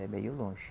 É meio longe.